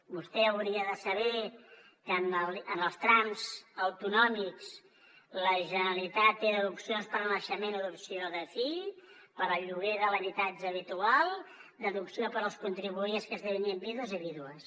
vostè hauria de saber que en els trams autonòmics la generalitat té deduccions per naixement adopció de fill per al lloguer de l’habitatge habitual deducció per als contribuents que esdevinguin vídues i vídues